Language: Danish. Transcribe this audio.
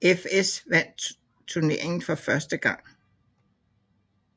Horsens fS vandt turneringen for første gang